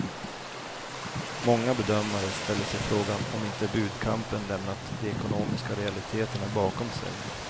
Många bedömare ställer sig frågan om inte budkampen lämnat de ekonomiska realiteterna bakom sig.